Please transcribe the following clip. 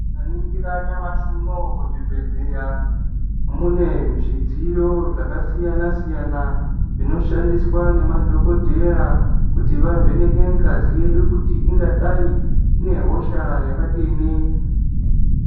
Tikaningira nyamashi unowu muzvibhedhleya mune zvidziyo yakasiyana siyana zvinoshandiswa nemadhokodheya kuti vavheneke ngazi yedu kuti ingadayi inehosha yakadini.